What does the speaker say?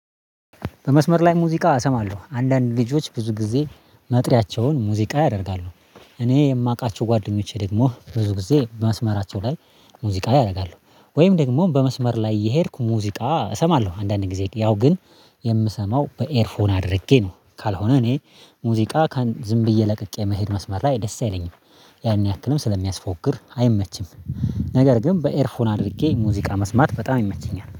በመስመር ላይ ሙዚቃ እሰማለሁ አንዳንድ ልጆች ብዙ ጊዜ መጥሪያቸውን ሙዚቃ ያደርጋሉ። እኔ የማውቃቸው ጓደኞቼ ደግሞ ብዙ ጊዜ መስመራቸው ላይ ሙዚቃ ያደርጋሉ። ወይም ደግሞ በመስመር ላይ እየሄድኩ ሙዚቃ እሰማለሁ አንዳንዴ ጊዜ ያው ግን የምሰማው በኤርፎን አድርጌ ነው። ካልሆነ እኔ ሙዚቃ ዝም ብዬ ለቅቄ መሄድ መስመር ላይ ደስ አይለኝም። ያን ያክልም ስለሚያስፎግር አይመችም። ነገር ግን በኤርፎን አድርጌ ሙዚቃ መስማት በጣም ይመቸኛል